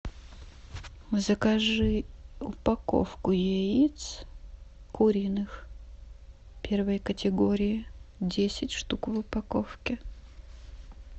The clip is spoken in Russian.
закажи упаковку яиц куриных первой категории десять штук в упаковке